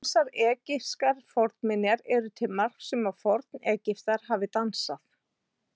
Ýmsar egypskar fornminjar eru til marks um að Forn-Egyptar hafi dansað.